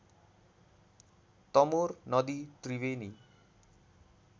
तमोर नदी त्रिवेणी